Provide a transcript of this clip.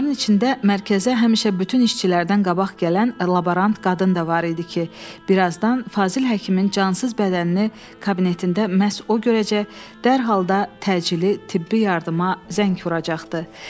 Onların içində mərkəzə həmişə bütün işçilərdən qabaq gələn laborant qadın da var idi ki, birazdan Fazil həkimin cansız bədənini kabinetində məhz o görəcək, dərhal da təcili tibbi yardıma zəng vuracaqdı.